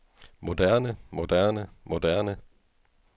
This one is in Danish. moderne moderne moderne